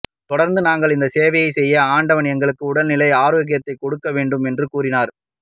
தொடர்ந்து நாங்கள் இந்த சேவையை செய்ய ஆண்டவன் எங்களுக்கு உடல் ஆரோக்கியத்தை கொடுக்க வேண்டும் என்று கூறினார்